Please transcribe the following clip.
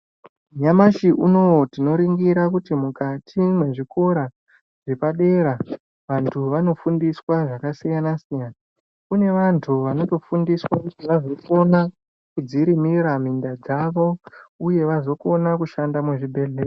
Nyamashi unou tinoringira kuti mukati mwezvikora zvepadera vantu vanofundiswa zvakasiyana siyana kune vantu vanotofundiswa kuti vazokona kudzirimira minda dzavo uye vazokona kushanda muzvibhedhlera.